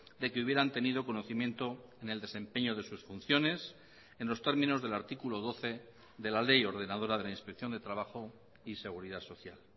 de que hubieran tenido conocimiento en el desempeño de sus funciones en los términos del artículo doce de la ley ordenadora de la inspección de trabajo y seguridad social